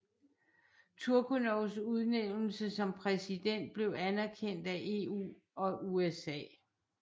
Turchynovs udnævnelse som præsident blev anerkendt EU og USA